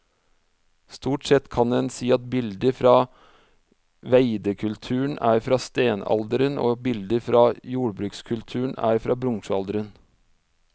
Stort sett kan en si at bilder fra veidekulturen er fra steinalderen og bilder fra jordbrukskulturen er fra bronsealderen.